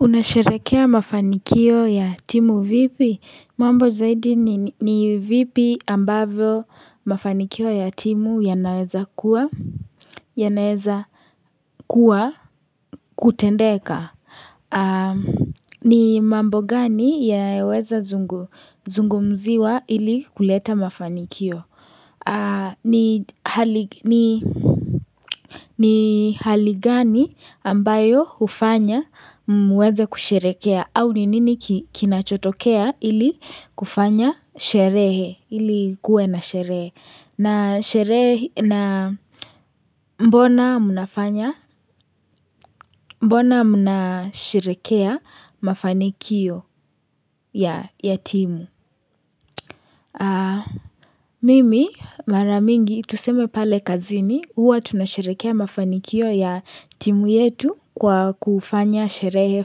Unasherekea mafanikio ya timu vipi mambo zaidi ni vipi ambavyo mafanikio ya timu ya naweza kuwa yanaweza kuwa kutendeka ni mambo gani yanaeweza zungu zungumziwa ili kuleta mafanikio ni hali ni ni hali gani ambayo hufanya muweze kusherekea au ni nini kinachotokea ili kufanya sherehe ili ikue na sherehe na mbona mnafanya mbona mna sherekea mafanikio ya timu. Mimi mara mingi tuseme pale kazini huwa tunasherekea mafanikio ya timu yetu kwa kufanya sherehe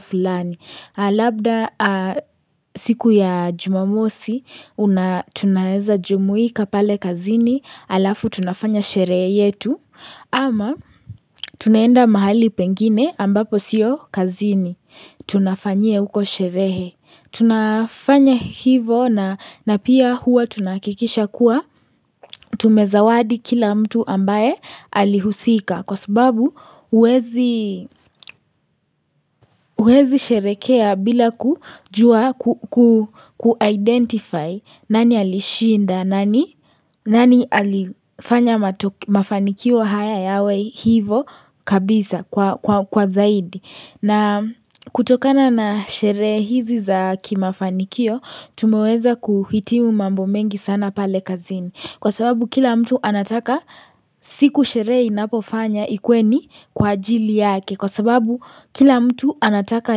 fulani labda siku ya jumamosi tunaeza jumuika pale kazini alafu tunafanya sherehe yetu Ama tunaenda mahali pengine ambapo sio kazini tunafanyia huko sherehe tunafanya hivo na pia huwa tunahakikisha kuwa tumezawadi kila mtu ambaye alihusika Kwa sababu huwezi sherekea bila kujua ku-identify nani alishinda nani alifanya mafanikio haya yawe hivo kabisa kwa zaidi na kutokana na sherehe hizi za kimafanikio, tumeweza kuhitimu mambo mengi sana pale kazini. Kwa sababu kila mtu anataka siku sherehe inapofanywa ikue ni kwa ajili yake. Kwa sababu kila mtu anataka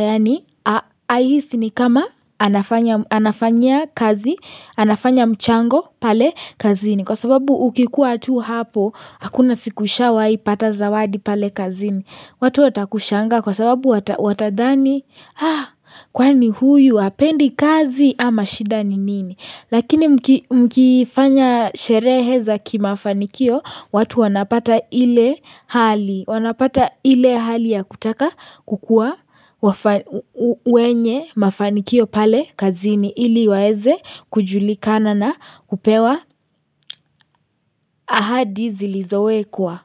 yani aihisi ni kama anafanya kazi, anafanya mchango pale kazini. Kwa sababu ukikuwa tu hapo, hakuna siku ushawai pata zawadi pale kazini. Watu watakushanga kwa sababu watadhani kwa ni huyu hapendi kazi ama shida ni nini. Lakini mkifanya sherehe za kimafanikio watu wanapata ile hali ya kutaka kukua wenye mafanikio pale kazini ili waeze kujulikana na upewa ahadi zilizowekua.